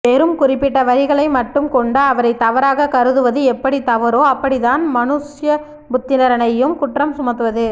வெறும் குறிப்பிட்ட வரிகளை மட்டும் கொண்டு அவரை தவறாக கருதுவது எப்படி தவறோ அப்படித்தான் மனுஸ்யபுத்திரனையும் குற்றம் சுமத்துவது